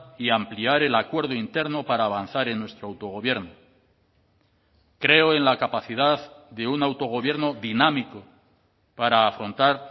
y ampliar el acuerdo interno para avanzar en nuestro autogobierno creo en la capacidad de un autogobierno dinámico para afrontar